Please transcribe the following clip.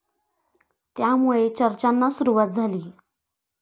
त्यामुळे चर्चाना सुरुवात झाली.